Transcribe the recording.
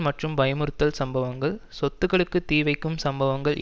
மற்றும் பயமுறுத்தல் சம்பவங்கள் சொத்துக்களுக்கு தீ வைக்கும் சம்பவங்கள்